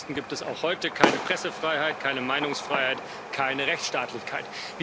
Ansonsten gibt es auch heute keine Pressefreiheit, keine Meinungsfreiheit und keine Rechtsstaatlichkeit.